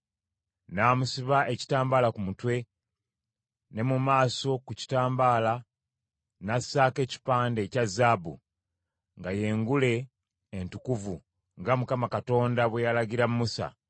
N’amusiba ekitambaala ku mutwe, ne mu maaso ku kitambaala n’assaako ekipande ekya zaabu, nga ye ngule entukuvu, nga Mukama Katonda bwe yalagira Musa.